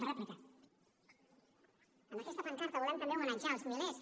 amb aquesta pancarta volem també homenatjar els milers